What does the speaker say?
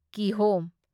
ꯀꯤꯍꯣꯝ